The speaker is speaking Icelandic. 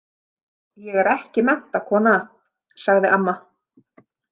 Ég er ekki menntakona, sagði amma.